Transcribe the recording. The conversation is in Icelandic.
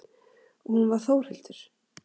Hún var Þórhildur.